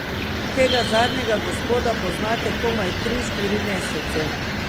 Tega zadnjega gospoda poznate komaj tri, štiri mesece.